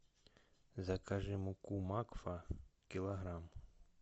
закажи муку макфа килограмм